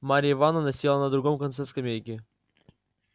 марья ивановна села на другом конце скамейки